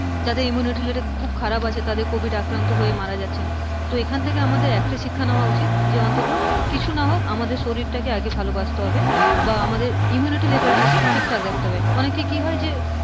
যাদের immunity level খুব খারাপ আছে, তাদের covid আক্রান্ত হয়ে মারা গেছেন তো আমাদের এইখান থেকে একটাই শিক্ষা নেওয়া উচিত, যে অন্ততঃ কিছু না হোক আমাদের শরীরটাকে ভালোবাসতে হবে বা আমাদের immunity level তা ঠিকঠাক রাখতে হবে, অনেকেই কি হয় যে,